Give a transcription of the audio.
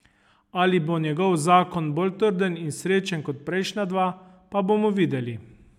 Ali bo njegov zakon bolj trden in srečen kot prejšnja dva, pa bomo videli.